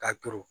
Ka turu